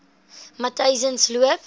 matyzensloop